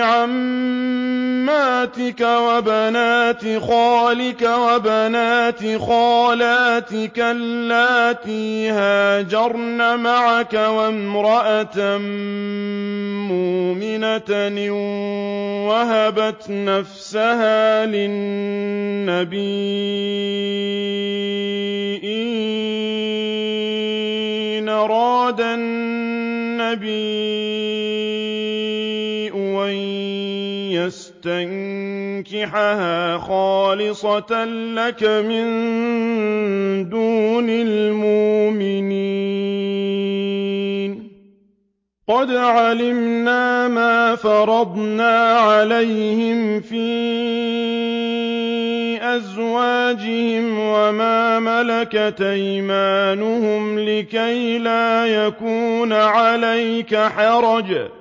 عَمَّاتِكَ وَبَنَاتِ خَالِكَ وَبَنَاتِ خَالَاتِكَ اللَّاتِي هَاجَرْنَ مَعَكَ وَامْرَأَةً مُّؤْمِنَةً إِن وَهَبَتْ نَفْسَهَا لِلنَّبِيِّ إِنْ أَرَادَ النَّبِيُّ أَن يَسْتَنكِحَهَا خَالِصَةً لَّكَ مِن دُونِ الْمُؤْمِنِينَ ۗ قَدْ عَلِمْنَا مَا فَرَضْنَا عَلَيْهِمْ فِي أَزْوَاجِهِمْ وَمَا مَلَكَتْ أَيْمَانُهُمْ لِكَيْلَا يَكُونَ عَلَيْكَ حَرَجٌ ۗ وَكَانَ اللَّهُ غَفُورًا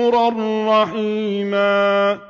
رَّحِيمًا